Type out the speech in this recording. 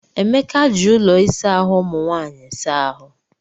Emeka ji ụlọ ịsa ahụ umụ nwanyị saa ahụ.